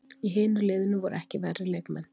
Í hinu liðinu voru ekki verri leikmenn!